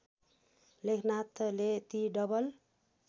लेखनाथले ती डबल